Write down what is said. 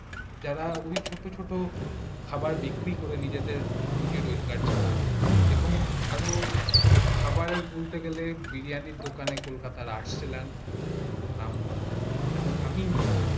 যারা ঐ ছোট ছোট খাবার বিক্রি করে উজির রোজগার চালান এবং আরো খাবারে বলতে গেলে বিরিয়ানির দোকান কলকাতা আর আরসল্যান্ড খুব নামকরা এবং আমিও নিয়ে আছি